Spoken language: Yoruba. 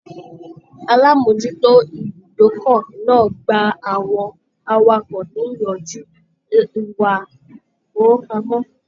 Alamojuto ibùdókọ̀ náà gbà àwọn awakọ̀ niyanju ìwà ifowopamọ.